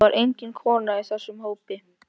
Það var engin kona í þessum hópi.